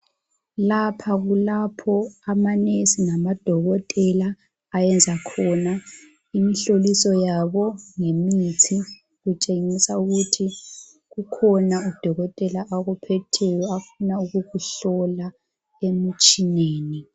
Lapha kulapho amanesi lamadokotela ayenza khona imhloliso yabo ngemithi, kutshengisa ukuthi kukhona udokotela akuphetheyo afuna ukukuhlola emutshineni.